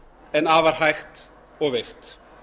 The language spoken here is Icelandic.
en afar hægt og veikt